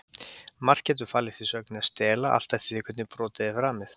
Margt getur falist í sögninni að stela, allt eftir því hvernig brotið er framið.